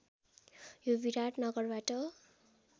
यो विराटनगरबाट